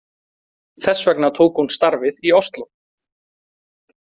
Þess vegna tók hún starfið í Osló.